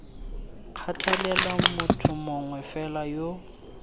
kgathalela motho mongwe fela yo